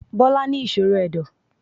Bọ́lá ní ìṣòro Ẹ̀dọ̀.